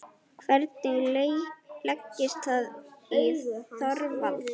Hvernig leggst það í Þorvald?